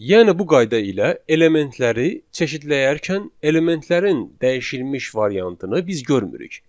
Yəni bu qayda ilə elementləri çeşidləyərkən elementlərin dəyişilmiş variantını biz görmürük.